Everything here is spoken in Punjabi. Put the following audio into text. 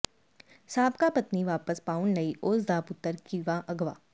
ਸਾਬਕਾ ਪਤਨੀ ਵਾਪਸ ਪਾਉਣ ਲਈ ਉਸ ਦਾ ਪੁੱਤਰ ਕੀਤਾ ਅਗ਼ਵਾ